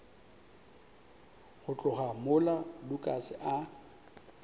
go tloga mola lukas a